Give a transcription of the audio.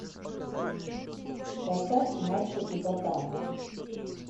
поставь мачо и ботан